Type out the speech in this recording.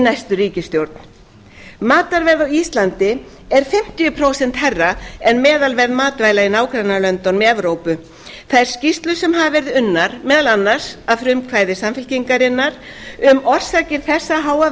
næstu ríkisstjórn matarverð á íslandi er fimmtíu prósent hærra en meðalverð matvæla í nágrannalöndunum í evrópu þær skýrslur sem hafa verið unnar meðal annars að frumkvæði samfylkingarinnar um orsakir þessa háa